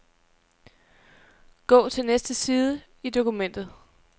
Gå til næste side i dokumentet.